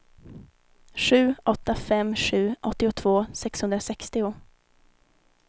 sju åtta fem sju åttiotvå sexhundrasextio